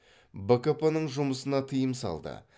бкп ның жұмысына тыйым салды